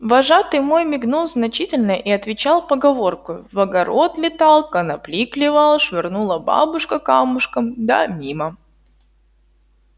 вожатый мой мигнул значительно и отвечал поговоркою в огород летал конопли клевал швырнула бабушка камушком да мимо